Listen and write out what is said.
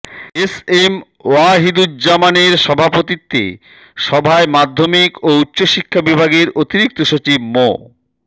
S M ওয়াহিদুজ্জামানের সভাপতিত্বে সভায় মাধ্যমিক ও উচ্চশিক্ষা বিভাগের অতিরিক্ত সচিব মো